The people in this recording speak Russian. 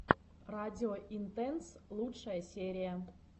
радио интенс лучшая серия